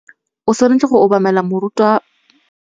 O tshwanetse go obamela moruta